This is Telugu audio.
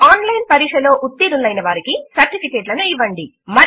ఒక ఆన్ లైన్ పరీక్ష పాస్ లో ఉత్తీర్ణులు అయిన వారికి సర్టిఫికెట్లను ఇవ్వండి